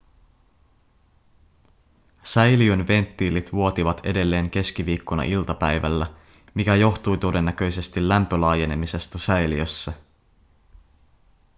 säiliön venttiilit vuotivat edelleen keskiviikkona iltapäivällä mikä johtui todennäköisesti lämpölaajenemisesta säiliössä